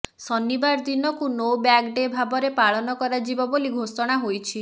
ଶନିବାର ଦିନକୁ no bag day ଭାବରେ ପାଳନ କରାଯିବ ବୋଲି ଘୋଷଣା ହୋଇଛି